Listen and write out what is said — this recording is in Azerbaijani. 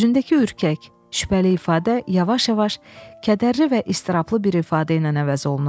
Üzündəki ürkək şübhəli ifadə yavaş-yavaş kədərli və iztirablı bir ifadə ilə əvəz olunurdu.